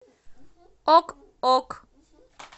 ок ок